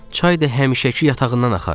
Çay da həmişəki yatağından axar.